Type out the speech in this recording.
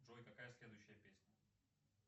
джой какая следующая песня